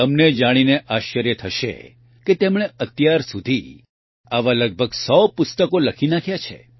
તમને જાણીને આશ્ચર્ય થશે કે તેમણે અત્યારસુધી આવા લગભગ ૧૦૦ પુસ્તકો લખી નાંખ્યા છે